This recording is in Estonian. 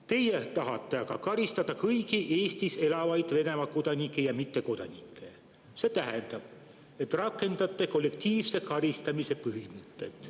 Teie tahate aga karistada kõiki Eestis elavaid Venemaa kodanikke ja mittekodanikke, see tähendab, et rakendate kollektiivse karistamise põhimõtet.